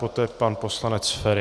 Poté pan poslanec Feri.